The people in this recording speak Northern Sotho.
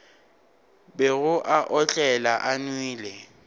bego a otlela a nwele